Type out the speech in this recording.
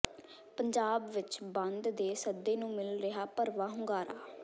ਪੰਜਾਬ ਵਿਚ ਬੰਦ ਦੇ ਸੱਦੇ ਨੂੰ ਮਿਲ ਰਿਹਾ ਭਰਵਾਂ ਹੁੰਗਾਰਾ